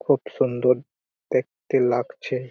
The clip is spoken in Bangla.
খুব সুন্দর দেখতে লাগছে।